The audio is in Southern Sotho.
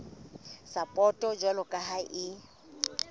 sapoto jwalo ka ha e